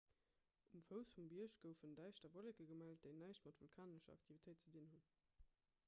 um fouss vum bierg goufen däischter wolleke gemellt déi näischt mat vulkanescher aktivitéit ze dinn hunn